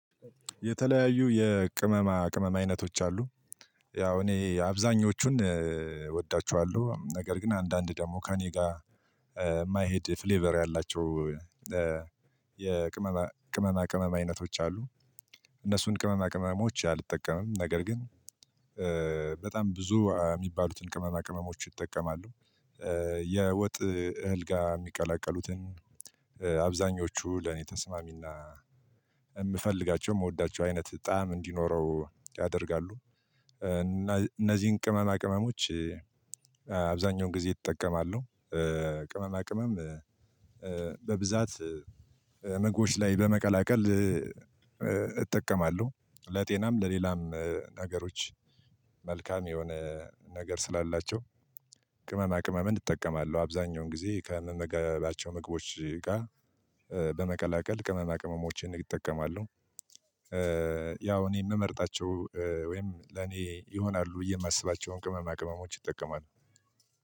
የተለያዩ የቅመማ ቅመም አይነቶች አሉ። ያው እኔ አብዛኞቹን እወዳቸዋለሁ ነገር ግን አንዳንድ ደግሞ ከእኔ ጋር የማይሄድ ፍሌቨር ያላቸው። የቅመማ ቅመማ ቅመም አይነቶች አሉ። እነሱን ቅመማ ቅመሞች አልጠቀምም ነገር ግን። በጣም ብዙ ሚባሉትን ቅመማ ቅመሞች ይጠቀማሉ። የወጥ እህል ጋር የሚቀላቀሉትን አብዛኞቹ ለኔ ተስማሚና የምፈልጋቸው የምወዳቸው አይነት ጣዕም እንዲኖረው ያደርጋሉ። እነዚህ ቅመማ ቅመሞች። አብዛኛው ጊዜ ይጠቀማሉ። ቅመማ ቅመም ለጤናም ለሌላም ነገሮች መልካም የሆነ ነገር ስላላቸው። ቅመማ ቅመም እጠቀማለሁ አብዛኛውን ጊዜ ከምመገባቸው ምግቦች ጋር። በመቀላቀል ቅመማ ቅመሞችን ይጠቀማሉ። ያው እኔ ምመርጣቸው ወይም ለኔ ይሆናሉ የማስባቸውን ቅመማ ቅመሞች ይጠቀማሉ።